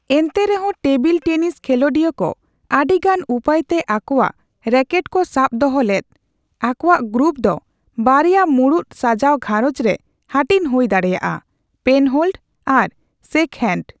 ᱮᱱᱛᱮᱨᱮ ᱦᱚᱸ table tennis ᱠᱷᱮᱞᱚᱰᱤᱭᱟᱹ ᱠᱚ ᱟᱹᱰᱤᱜᱟᱱ ᱩᱯᱟᱹᱭᱛᱮ ᱟᱠᱚᱣᱟᱜ ᱨᱮᱠᱮᱴᱚᱠ ᱥᱟᱵ ᱫᱚᱦᱚ ᱞᱮᱫ, ᱟᱠᱚᱣᱟᱜ ᱜᱨᱤᱯ ᱫᱚ ᱵᱟᱨᱭᱟ ᱢᱩᱲᱩᱛ ᱥᱟᱡᱟᱣ ᱜᱷᱟᱨᱚᱸᱡᱽ ᱨᱮ ᱦᱟᱹᱴᱤᱧ ᱦᱩᱭ ᱫᱟᱲᱮᱭᱟᱜᱼᱟ, ᱯᱮᱱᱦᱳᱞᱰ ᱟᱨ ᱥᱮᱠᱦᱮᱱᱰ ᱾